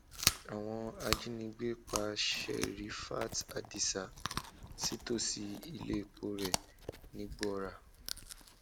àwọn ajínigbé pa serifit adisa sítòsí iléepo rẹ nìgbòòrà